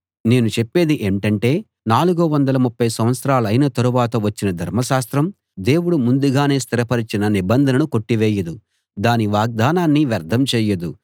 నేను చెప్పేది ఏంటంటే 430 సంవత్సరాలైన తరువాత వచ్చిన ధర్మశాస్త్రం దేవుడు ముందుగానే స్థిరపరచిన నిబంధనను కొట్టివేయదు దాని వాగ్దానాన్ని వ్యర్థం చేయదు